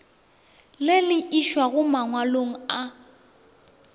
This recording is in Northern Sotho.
le le išago mangwalong a